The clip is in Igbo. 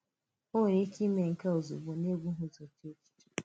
Ó nwere ike ímè nke a ozugbo n’ebughì ụzọ chée echiche.